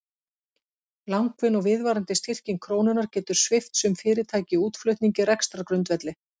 Langvinn og viðvarandi styrking krónunnar getur svipt sum fyrirtæki í útflutningi rekstrargrundvelli.